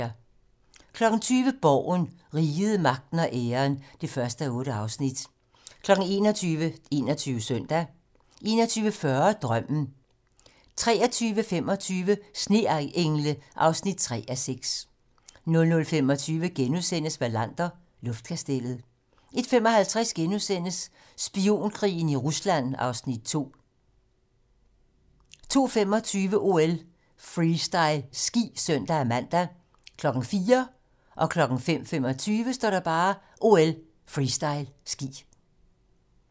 20:00: Borgen - Riget, magten og æren (1:8) 21:00: 21 Søndag 21:40: Drømmen 23:25: Sneengle (3:6) 00:25: Wallander: Luftkastellet * 01:55: Spionkrigen i Ringsted (Afs. 2)* 02:25: OL: Freestyle ski (søn-man) 04:00: OL: Freestyle ski 05:25: OL: Freestyle ski